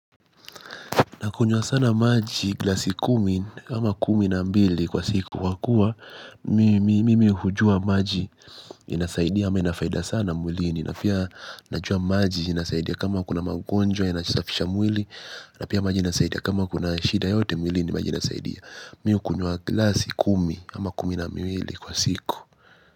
Na kunywa sana maji glasi kumi ama kumi na mbili kwa siku kwa kuwa mimi hujua maji inasaidia ama inafaida sana mwilini. Na pia najua maji inasaidia kama kuna magonjwa yanasafisha mwili na pia maji inasaidia kama kunashida yoyote mwilini maji inasaidia. Mimi hukunywa glasi kumi ama kumi na miwili kwa siku.